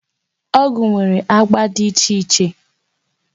Ọgwụ nwere agba dị iche iche.